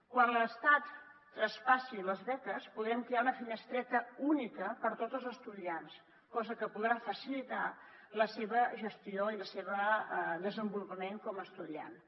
quan l’estat tras·passi les beques podrem crear una finestreta única per a tots els estudiants cosa que podrà facilitar la seva gestió i el seu desenvolupament com a estudiants